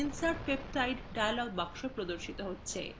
insert peptide dialog box প্রদর্শিত হচ্ছে